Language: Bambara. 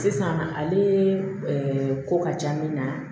Sisan ale ko ka ca min na